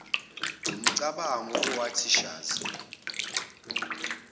wumcabango owathi shazi